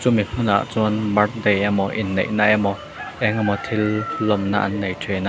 mi hmunah chuan birthday emaw inneihna emaw engemaw thil lawmna an nei thin a.